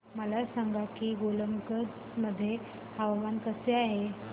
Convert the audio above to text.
मला सांगा की गोलकगंज मध्ये हवामान कसे आहे